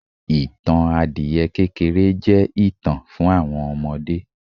ìtàn adiẹ kékéré je itan fún àwọn ọmọdé